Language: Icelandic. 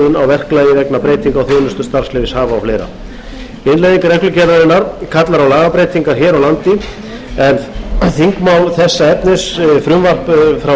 verklagi vegna breytinga á þjónustu starfsleyfishafa og fleiri innleiðing reglugerðarinnar kallar á lagabreytingar hér á landi en þingmál þessa efnis frumvarp frá